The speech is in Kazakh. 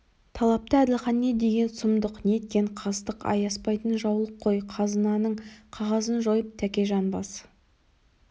талапты әділхан не деген сұмдық неткен қастық аяспайтын жаулық қой қазынаның қағазын жойып тәкежан басы